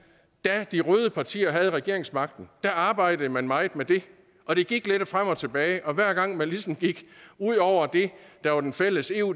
da de røde partier havde regeringsmagten arbejdede man meget med det og det gik lidt frem og tilbage og hver gang man ligesom gik ud over det der var den fælles eu